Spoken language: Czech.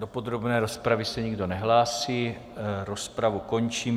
Do podrobné rozpravy se nikdo nehlásí, rozpravu končím.